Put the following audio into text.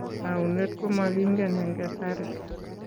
Taunet ko makingen eng' kasari.